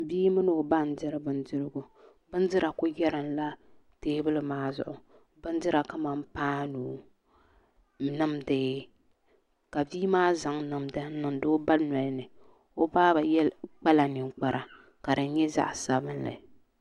Bia mini o ba n diri bindirigu bindira ku yɛrimla teebuli maa zuɣu bindira kamani paanu nimdi ka bia maa zaŋ nimdi n niŋdi o ba nolini o ba kpala ninkpara ka di nyɛ zaɣ sabinli